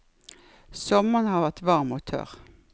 Sommeren har vært varm og tørr.